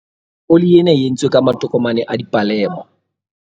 oli ena e entswe ka matokomane a dipalema